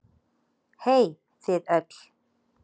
Hey þið öll.